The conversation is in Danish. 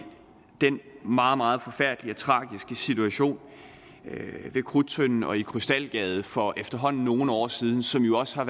den meget meget forfærdelige og tragiske situation ved krudttønden og i krystalgade for efterhånden nogle år siden som jo også har